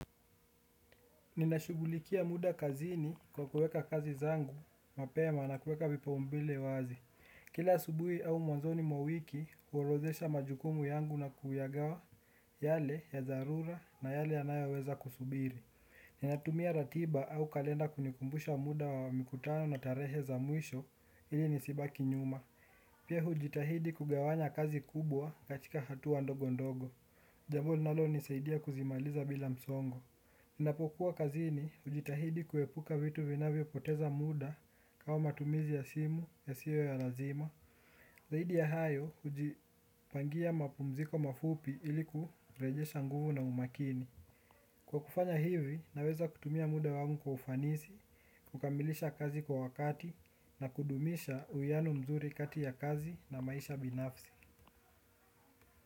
Ninashughulikia muda kazini kwa kuweka kazi zangu, mapema na kuweka vipaumbile wazi. Kila asubuhi au mwanzoni mwa wiki huorodhesha majukumu yangu na kuyagawa yale ya dharura na yale yanayoweza kusubiri. Ninatumia ratiba au kalenda kunikumbusha muda wa mkutano na tarehe za mwisho ili nisibaki nyuma. Pia hujitahidi kugawanya kazi kubwa katika hatua ndogo ndogo. Jambo linalo nisaidia kuzimaliza bila msongo. Ninapokuwa kazini hujitahidi kuepuka vitu vinavyo poteza muda kama matumizi ya simu ya siwe ya lazima. Zaidi ya hayo hujipangia mapumziko mafupi iliku rejesha nguvu na umakini. Kwa kufanya hivi naweza kutumia muda wangu kwa ufanisi, kukamilisha kazi kwa wakati na kudumisha uwiano mzuri kati ya kazi na maisha binafsi.